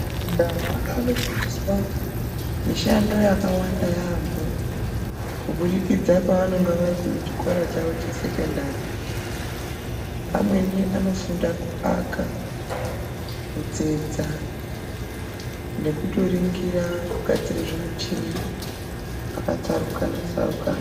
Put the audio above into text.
Ana anofundiswa mishando yakawanda yaambo kubudikidza paanonga arikuchikora chawo chesekondari amweni anofunda kuaka kutsetsa nekutoringira kugadzire zvimuchini zvakatsarukana tsarukana.